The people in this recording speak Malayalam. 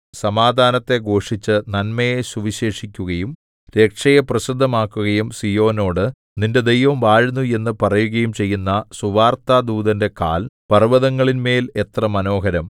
സമാധാനത്തെ ഘോഷിച്ചു നന്മയെ സുവിശേഷിക്കുകയും രക്ഷയെ പ്രസിദ്ധമാക്കുകയും സീയോനോട് നിന്റെ ദൈവം വാഴുന്നു എന്നു പറയുകയും ചെയ്യുന്ന സുവാർത്താദൂതന്റെ കാൽ പർവ്വതങ്ങളിന്മേൽ എത്ര മനോഹരം